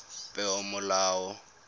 peomolao